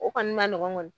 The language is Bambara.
O kɔni ma nɔgɔn kɔni